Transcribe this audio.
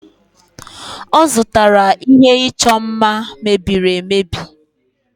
ọ zụtara ihe ịchọ mma mebieri emebi